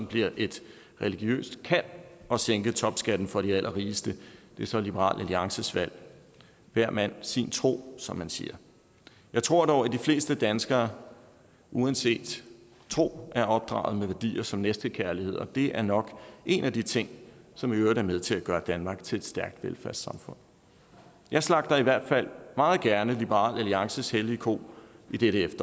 bliver et religiøst kald at sænke topskatten for de allerrigeste er så liberal alliances valg hver mand sin tro som man siger jeg tror dog at de fleste danskere uanset tro er opdraget med værdier som næstekærlighed det er nok en af de ting som i øvrigt er med til at gøre danmark til et stærkt velfærdssamfund jeg slagter i hvert fald meget gerne liberal alliances hellige ko i dette